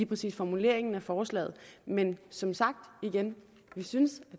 præcis formuleringen af forslaget men som sagt synes